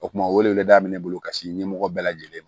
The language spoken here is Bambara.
O kuma welewele da bɛ ne bolo ka se ɲɛmɔgɔ bɛɛ lajɛlen ma